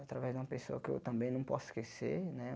Através de uma pessoa que eu também não posso esquecer, né?